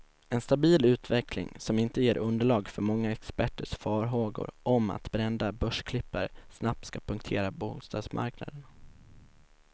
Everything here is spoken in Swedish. En stabil utveckling, som inte ger underlag för många experters farhågor om att brända börsklippare snabbt ska punktera bostadsmarknaden.